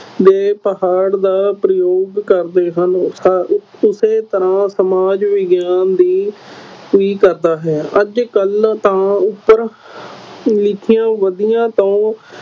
ਦੇ ਪਹਾੜ ਦਾ ਪ੍ਰਯੋਗ ਕਰਦੇ ਹਨ ਸ਼ਾਇਦ ਇਸੇ ਤਰ੍ਹਾਂ ਸਮਾਜ ਵਿਗਿਆਨ ਵੀ ਵੀ ਕਰਦਾ ਹੈ ਅੱਜ ਕੱਲ੍ਹ ਤਾਂ ਉੱਪਰ ਲਿਖੀਆਂ ਵਿੱਧੀਆਂ ਤੋਂ